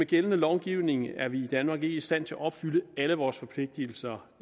gældende lovgivning er vi i danmark ikke i stand til at opfylde alle vores forpligtigelser